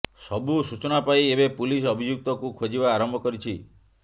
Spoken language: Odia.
ସବୁ ସୂଚନା ପାଇ ଏବେ ପୁଲିସ ଅଭିଯୁକ୍ତକୁ ଖୋଜିବା ଆରମ୍ଭ କରିଛି